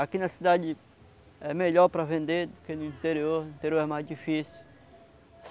Aqui na cidade é melhor para vender do que no interior, no interior é mais difícil.